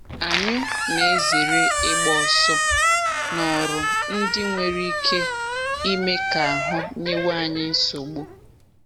Anyụ na-ezere ịgba ọsọ n’ọrụ ndị nwere ike ime ka ahụ nyewe anyị nsogbu